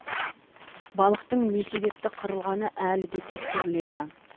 балықтың не себепті қырылғаны әлі де тексеріледі